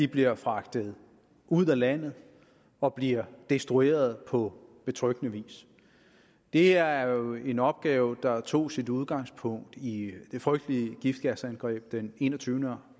bliver fragtet ud af landet og bliver destrueret på betryggende vis det er jo en opgave der tog sit udgangspunkt i det frygtelige giftgasangreb den enogtyvende